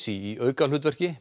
í aukahlutverki